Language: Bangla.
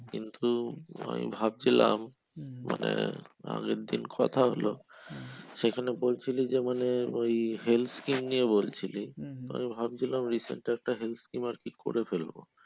কিন্তু আমি ভাবছিলাম মানে আগেরদিন কোথা হলো সেখানে বলছিলো যে মানে ওই health scheme নিয়ে বলছিলি তো আমি ভাবছিলাম recent একটা health scheme আরকি করে ফেলবো।